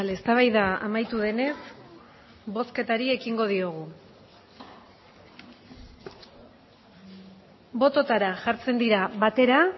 eztabaida amaitu denez bozketari ekingo diogu bototara jartzen dira batera